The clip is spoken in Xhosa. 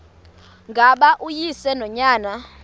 ngaba uyise nonyana